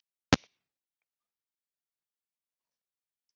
Lægir norðvestan til á landinu síðdegis